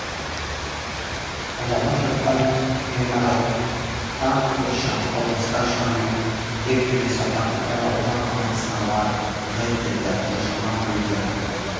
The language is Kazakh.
жанып жатқан ғимарттан көрші корпусқа шамамен екі жүз адам эвакуацияланды деді тжм өкілдері